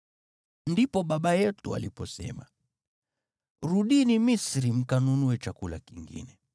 “Ndipo baba yetu aliposema, ‘Rudini Misri mkanunue chakula kingine.’